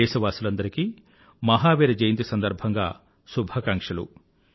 దేశవాసులందరికీ మహావీర జయంతి సందర్భంగా శుభాకాంక్షలు